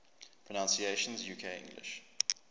pronunciations uk english